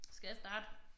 Skal jeg starte